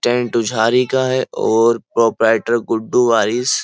Guddu Waris --